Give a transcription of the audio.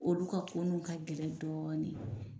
Olu ka koninw ka gɛlɛ dɔɔnin.